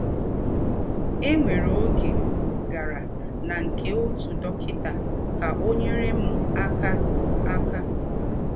E nwere ọge m gara na nke ọtụ dọkịta ka ọ nyere m aka aka.